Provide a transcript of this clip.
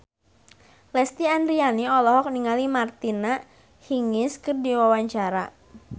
Lesti Andryani olohok ningali Martina Hingis keur diwawancara